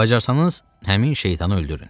Bacarsanız həmin şeytanı öldürün.